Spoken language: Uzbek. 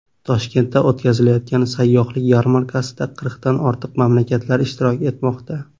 Toshkentda o‘tkazilayotgan sayyohlik yarmarkasida qirqdan ortiq mamlakat ishtirok etmoqda.